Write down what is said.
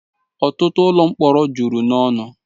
ọtụtụ ụlọ mkpọrọ juru n'ọnụ